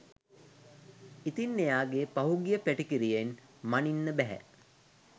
ඉතින් එයාගේ පහුගිය පැටිකිරියෙන් මනින්න බැහැ